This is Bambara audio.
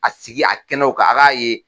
A sigi a kɛnɛw kan a k'a ye.